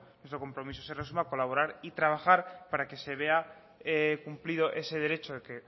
nuestro compromiso se resume en colaborar y trabajar para que se vea cumplido ese derecho que